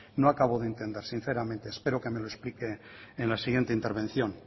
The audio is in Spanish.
no acabo de entender sinceramente espero que me lo explique en la siguiente intervención